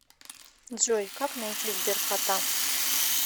джой как найти сберкота